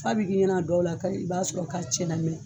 F'a bɛ k'i ɲɛn'a dɔw la ka i b'a sɔrɔ lamin